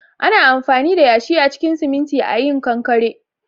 Ana amfani da yashi a cikin siminti a yin konkire